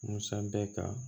Musa bɛ ka